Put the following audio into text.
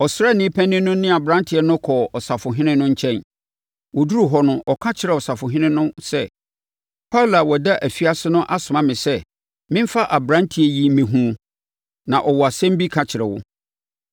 Ɔsraani panin no ne aberanteɛ no kɔɔ ɔsafohene no nkyɛn. Wɔduruu hɔ no, ɔka kyerɛɛ ɔsafohene no sɛ, “Paulo a ɔda afiase no asoma me sɛ memfa aberanteɛ yi mmɛhunu wo na ɔwɔ asɛm bi ka kyerɛ wo.”